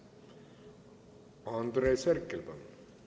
Andres Herkel, palun!